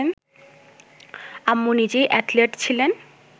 আম্মু নিজেই অ্যাথলেট ছিলেন